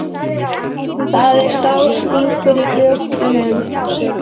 Það er sár stingur í brjóstinu.